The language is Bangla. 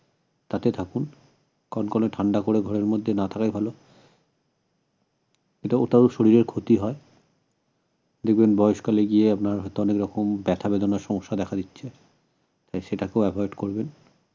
তাতে থাকুন কনকনে ঠান্ডা করে ঘরের মধ্যে না থাকাই ভালো এটাও তাও শরীরের ক্ষতি হয় দেখবেন বয়সকালে গিয়ে আপনার হয়তো অনেকরকম ব্যাথা বেদনার সমস্যা দেখা দিচ্ছে তাই সেটাকেও avoid করবেন